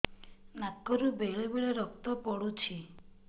ନାକରୁ ବେଳେ ବେଳେ ରକ୍ତ ପଡୁଛି